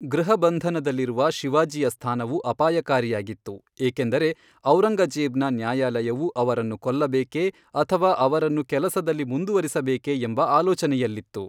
ಗೃಹಬಂಧನದಲ್ಲಿರುವ ಶಿವಾಜಿಯ ಸ್ಥಾನವು ಅಪಾಯಕಾರಿಯಾಗಿತ್ತು, ಏಕೆಂದರೆ ಔರಂಗಜೇಬ್ನ ನ್ಯಾಯಾಲಯವು ಅವರನ್ನು ಕೊಲ್ಲಬೇಕೆ ಅಥವಾ ಅವರನ್ನು ಕೆಲಸದಲ್ಲಿ ಮುಂದುವರಿಸಬೇಕೆ ಎಂಬ ಆಲೋಚನೆಯಲ್ಲಿತ್ತು.